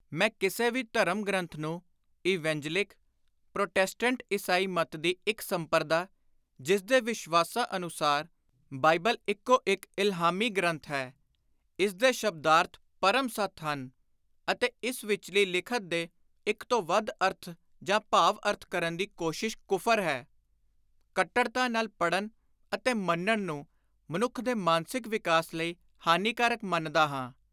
ਮੈਂ ਕਿਸੇ ਵੀ ਧਰਮ-ਗ੍ਰੰਥ ਨੂੰ ਇਵੇਂਜਲਿਕ (ਪ੍ਰੋਟੈਸਟੈਂਟ ਈਸਾਈ ਮੱਤ ਦੀ ਇਕ ਸੰਪਰਦਾ, ਜਿਸਦੇ ਵਿਸ਼ਵਾਸਾਂ ਅਨੁਸਾਰ : (ੳ) ਬਾਈਬਲ ਇਕੋ ਇਕ ਇਲਹਾਮੀ ਗ੍ਰੰਥ ਹੈ; (ਅ) ਇਸ ਦੇ ਸ਼ਬਦਾਰਥ ਪਰਮ ਸਤਿ ਹਨ; ਅਤੇ (ੲ) ਇਸ ਵਿਚਲੀ ਲਿਖਤ ਦੇ ਇਕ ਤੋਂ ਵੱਧ ਅਰਥ ਜਾਂ ਭਾਵ-ਅਰਥ ਕਰਨ ਦੀ ਕੋਸ਼ਿਸ਼ ਕੁਫ਼ਰ ਹੈ।) ਕੱਟੜਤਾ ਨਾਲ ਪੜ੍ਹਨ ਅਤੇ ਮੰਨਣ ਨੂੰ ਮਨੁੱਖ ਦੇ ਮਾਨਸਿਕ ਵਿਕਾਸ ਲਈ ਹਾਨੀਕਾਰਕ ਮੰਨਦਾ ਹਾਂ।